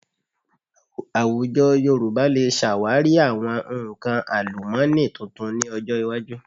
Àwùjọ Yorùbá lè ṣàwárí àwọn nǹkan àlùmọ́nì tuntun ní ọjọ iwájú